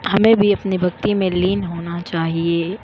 हमे भी अपनी भक्ति में लीन होना चाहिए।